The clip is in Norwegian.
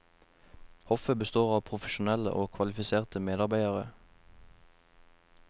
Hoffet består av profesjonelle og kvalifiserte medarbeidere.